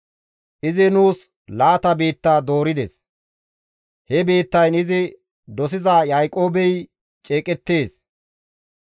Izi nuus laata biitta doorides; he biittayn izi dosiza Yaaqoobey ceeqettees.